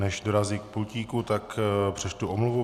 Než dorazí k pultíku, tak přečtu omluvu.